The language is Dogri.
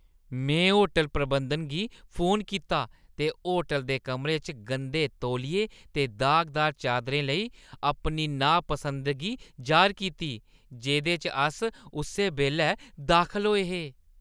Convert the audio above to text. में होटल प्रबंधन गी फोन कीता ते होटल दे कमरे च गंदे तौलिये ते दागदार चादरें लेई अपनी नापसंदगी जाह्र‌र कीती जेह्दे च अस उस्सै बेल्लै दाखल होए हे।